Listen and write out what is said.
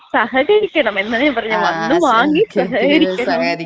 സഹകരിക്കണം എന്നാണ് ഞാൻ പറഞ്ഞത്. സഹകരിക്കണം. വന്ന് വാങ്ങി സഹകരിക്കണം.